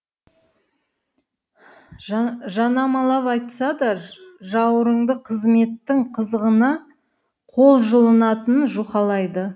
жанамалап айтса да жауырынды қызметтің қызығына қол жылынатынын жұқалайды